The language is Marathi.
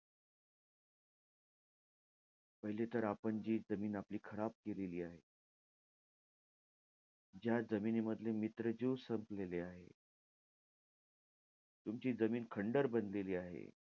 पहिले तर आपण जे जमीन आपली खराब केली आहे. ज्या जमिनीमधले मित्र जीव संपलेले आहे. तुमची जमीन खंडर बनलेली आहे.